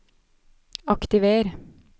aktiver